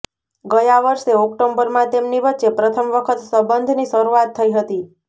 ગયા વર્ષે ઓક્ટોબરમાં તેમની વચ્ચે પ્રથમ વખત સંબંધની શરૂઆત થઇ હતી